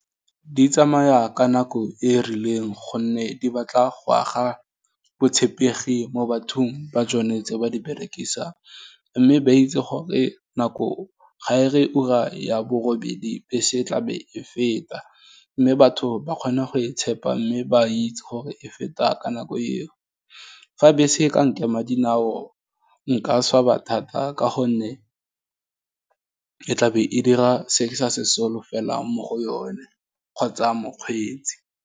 Di tsamaya ka nako e rileng, gonne di batla go aga botshepegi mo bathong ba tsone tse ba di berekisang, mme ba itse gore nako ga e re ura ya borobedi be se tlabe e feta, mme batho ba kgone go e tshepa, mme ba itse gore e feta ka nako eo, fa bese e ka nkema ka dinao, nka swaba thata, ka gonne, ke tla be e dira se ke sa se solofelang, mo go yone, kgotsa mokgweetsi.